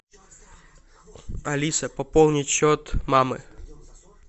алиса пополнить счет мамы